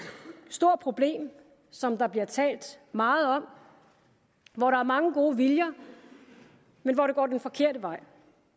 stort problem som der bliver talt meget om hvor der er mange gode viljer men hvor det går den forkerte vej